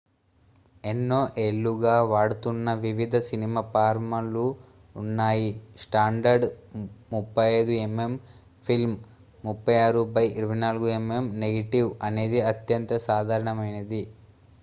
ఎన్నో ఏళ్లుగా వాడుతున్న వివిధ సినిమా ఫార్మాట్లు ఉన్నాయి standard 35 mm film 36 by 24 mm negative అనేది అత్యంత సాధారణమైనది